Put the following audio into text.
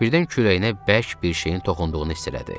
Birdən kürəyinə bərk bir şeyin toxunduğunu hiss elədi.